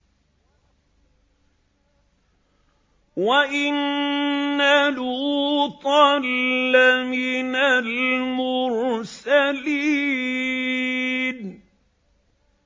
وَإِنَّ لُوطًا لَّمِنَ الْمُرْسَلِينَ